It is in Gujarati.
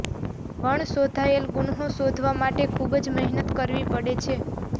વણશોધાયેલ ગુન્હા શોધવા માટે ખુબ જ મહેનત કરવી પડે છે